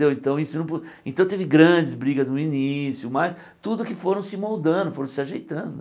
Então isso não po então teve grandes brigas no início, mas tudo que foram se moldando, foram se ajeitando.